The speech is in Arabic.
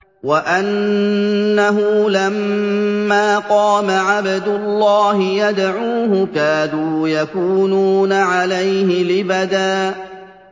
وَأَنَّهُ لَمَّا قَامَ عَبْدُ اللَّهِ يَدْعُوهُ كَادُوا يَكُونُونَ عَلَيْهِ لِبَدًا